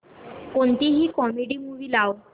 कोणतीही comedy movie लाव